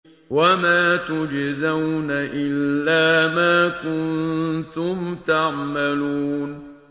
وَمَا تُجْزَوْنَ إِلَّا مَا كُنتُمْ تَعْمَلُونَ